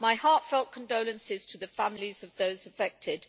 My heartfelt condolences to the families of those affected.